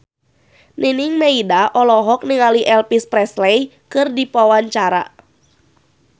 Nining Meida olohok ningali Elvis Presley keur diwawancara